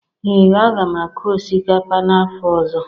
Ee, m ga-akụ osikapa n'afọ ọzọ